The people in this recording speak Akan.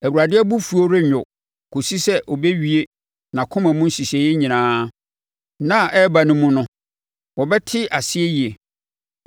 Awurade abufuo rennwo kɔsi sɛ ɔbɛwie nʼakoma mu nhyehyɛeɛ nyinaa. Nna a ɛreba no mu no mobɛte aseɛ yie.